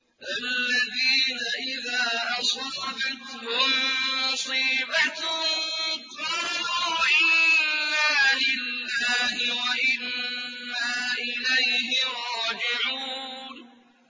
الَّذِينَ إِذَا أَصَابَتْهُم مُّصِيبَةٌ قَالُوا إِنَّا لِلَّهِ وَإِنَّا إِلَيْهِ رَاجِعُونَ